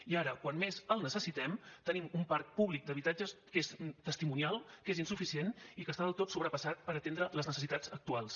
i ara quan més el necessitem tenim un parc públic d’habi tatges que és testimonial que és insuficient i que està del tot sobrepassat per atendre les necessitats actuals